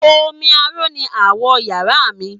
Omi aró ni awọ̀ iyàrá mi.